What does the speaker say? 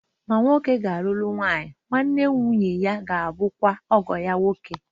Ma nwoke gāluru nwanyi, nwa-nne nwunye-ya gābu kwa ọgọ-ya nwoke